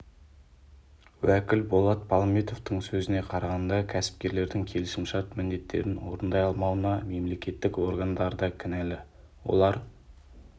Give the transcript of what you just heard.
уәкіл болат палымбетовтың сөзіне қарағанда кәсіпкерлердің келісімшарт міндеттерін орындай алмауына мемлекеттік органдар да кінәлі олар